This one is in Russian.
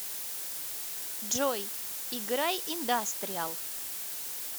джой играй индастриал